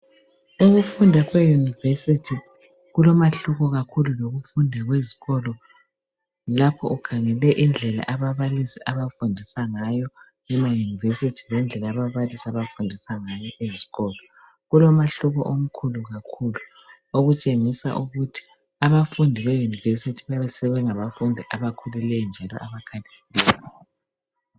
Ukufunda kwe yunivesithi kulomahluko kakhulu kulokufunda kwezikolo, lapho ukhangele indlela ababalisi abafundisa ngayo ema yunivesithi lendlela ababalisi abafundisa ngayo eskolo .Kulomahluko omkhulu kakhulu okutshengisa ukuthi abafundi be yunivesithi bayabe sebengabafundi abakhulileyo njalo abakhaliphileyo.